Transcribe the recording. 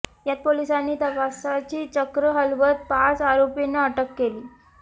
यात पोलिसांनी तपासाची चक्र हलवत पाच आरोपींना अटक केली